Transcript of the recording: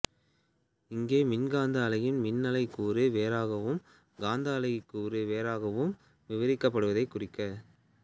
இங்கே மின்காந்த அலையின் மின் அலை கூறு வேறாகவும் காந்த அலை கூறு வேறாகவும் விபரிக்கப்படுவதை குறிக்க